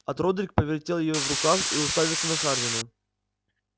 от родрик повертел её в руках и уставился на хардина